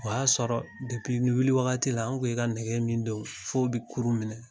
O y'a sɔrɔ wuli wagati la an ko i ka nɛgɛ min don f'o bɛ kurun minɛ